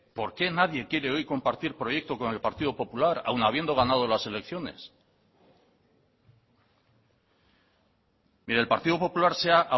por qué nadie quiere hoy compartir proyecto con el partido popular aun habiendo ganado las elecciones mire el partido popular se ha